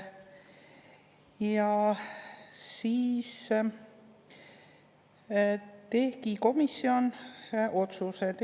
Ja siis tegi komisjon otsused.